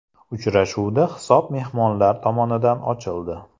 Uchrashuvda hisob mehmonlar tomonidan ochildi.